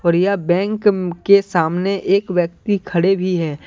प्रिया bank के सामने एक व्यक्ति खड़े भी है।